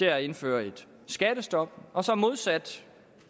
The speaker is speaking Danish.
er at indføre et skattestop og så modsat